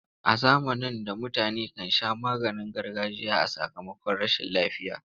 A zamanin da mutane kan sha maganin gargajiya a sakamakon rashin lafiya.